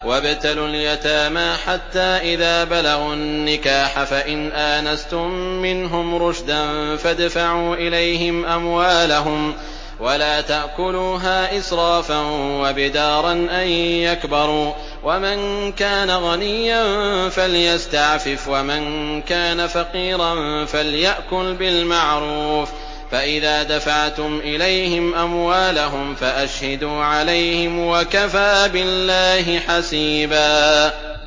وَابْتَلُوا الْيَتَامَىٰ حَتَّىٰ إِذَا بَلَغُوا النِّكَاحَ فَإِنْ آنَسْتُم مِّنْهُمْ رُشْدًا فَادْفَعُوا إِلَيْهِمْ أَمْوَالَهُمْ ۖ وَلَا تَأْكُلُوهَا إِسْرَافًا وَبِدَارًا أَن يَكْبَرُوا ۚ وَمَن كَانَ غَنِيًّا فَلْيَسْتَعْفِفْ ۖ وَمَن كَانَ فَقِيرًا فَلْيَأْكُلْ بِالْمَعْرُوفِ ۚ فَإِذَا دَفَعْتُمْ إِلَيْهِمْ أَمْوَالَهُمْ فَأَشْهِدُوا عَلَيْهِمْ ۚ وَكَفَىٰ بِاللَّهِ حَسِيبًا